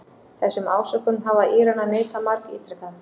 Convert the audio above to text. Þessum ásökunum hafa Íranar neitað margítrekað